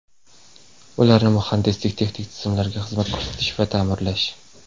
ularni muhandislik-texnik tizimlariga xizmat ko‘rsatish va taʼmirlash.